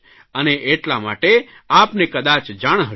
અને એટલા માટે આપને કદાચ જાણ હશે